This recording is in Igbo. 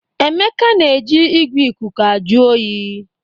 Emeka na-eji igwe ikuku ajụ oyi